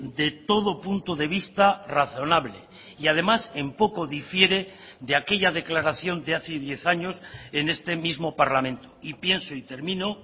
de todo punto de vista razonable y además en poco difiere de aquella declaración de hace diez años en este mismo parlamento y pienso y termino